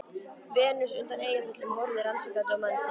Venus undan Eyjafjöllum horfði rannsakandi á mann sinn.